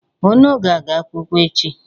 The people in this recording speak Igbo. Un aga-aga akwụkwọ echi.